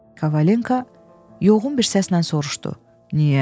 Kavalento yoğun bir səslə soruşdu.